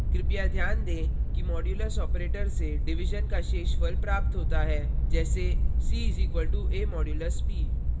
कृपया ध्यान दें कि modulus operator से division का शेषफल प्राप्त होता है जैसे c = a % b;